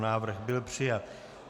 Návrh byl přijat.